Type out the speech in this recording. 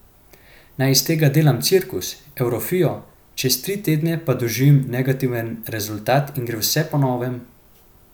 Naj iz tega delam cirkus, evforijo, čez tri tedne pa doživim negativen rezultat in gre vse po novem?